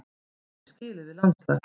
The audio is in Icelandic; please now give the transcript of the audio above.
Ég sagði skilið við landslags